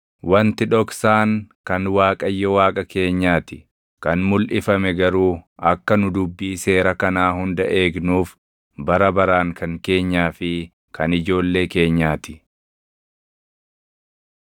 Wanti dhoksaan kan Waaqayyo Waaqa keenyaa ti; kan mulʼifame garuu akka nu dubbii seera kanaa hunda eegnuuf bara baraan kan keenyaa fi kan ijoollee keenyaa ti.